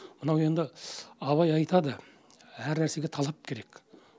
мынау енді абай айтады әр нәрсеге талап керек